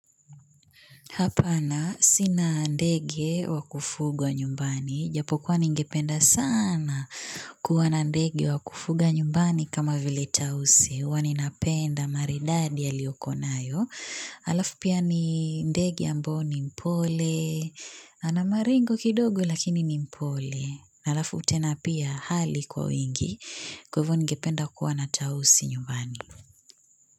Hapana sina ndege wa kufugwa nyumbani. Japo kuwa ningependa sana kuwa na ndege wa kufuga nyumbani kama vile tausi. Uwa nina penda maridadi a liyoko nayo. Alafu pia ni ndege ambae ni mpole. Ana maringo kidogo lakini ni mpole. Alafu tena pia hali kwa wingi kwa hivyo ningependa kuwa na tausi nyumbani.